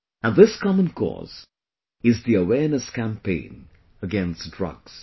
And this common cause is the awareness campaign against drugs